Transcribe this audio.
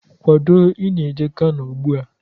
Kwado, Ị na-eje Kano ụgbụa!